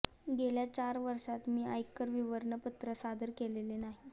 गेल्या चार वर्षांत मी आयकर विवरणपत्र सादर केलेले नाही